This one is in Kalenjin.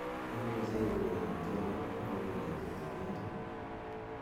imuje ieureren tiendo agopo kemetogen ii